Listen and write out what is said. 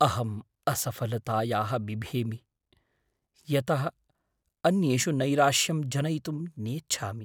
अहम् असफलतायाः बिभेमि, यतः अन्येषु नैराश्यं जनयितुं नेच्छामि।